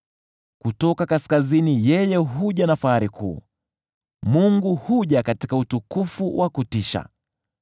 Kutoka kaskazini yeye huja na fahari kuu; Mungu huja katika utukufu wa kutisha.